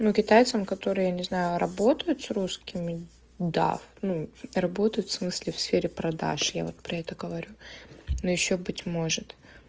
ну китайцам которые я не знаю работают с русскими да ну работают в смысле в сфере продаж я вот про это говорю но ещё быть может